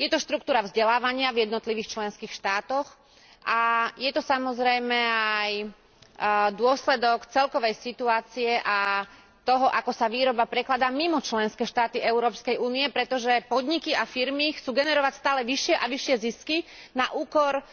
Je to štruktúra vzdelávania v jednotlivých členských štátoch a je to samozrejme aj dôsledok celkovej situácie a toho, ako sa výroba prekladá mimo členské štáty Európskej únie, pretože podniky a firmy chcú generovať stále vyššie a vyššie zisky na úkor